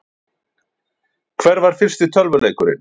Hver var fyrsti tölvuleikurinn?